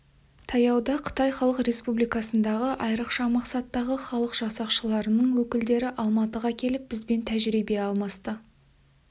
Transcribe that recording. таяуда қытай халық республикасындағы айырықша мақсаттағы халық жасақшыларының өкілдері алматыға келіп бізбен тәжірибе алмасты